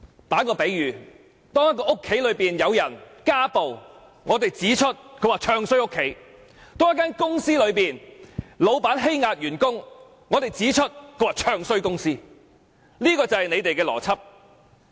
舉例來說，有人說家裏發生家暴事件，他們便說他"唱衰"自己的家；又有人說公司老闆欺壓員工，他們便說他"唱衰"公司，這是他們的邏輯。